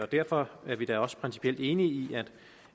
derfor er vi da også principielt enige i